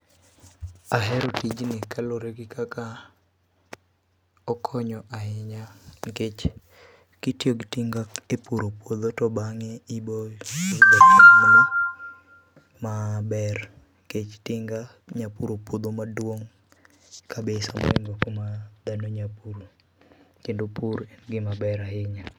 Ahero tijni kaluore gi kaka okonyo ahinya nikech kitiyo gi tinga e puro puodho to bange ibo maber nikech tinga nya puro puodho maduong kabisa moingo kuma dhano nya puro. Kendo pur en gima ber ahinya